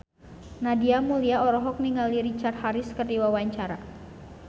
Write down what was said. Nadia Mulya olohok ningali Richard Harris keur diwawancara